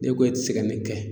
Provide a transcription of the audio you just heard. Ne ko e te se ka nin kɛ